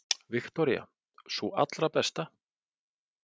Viktoría: Sú allra besta?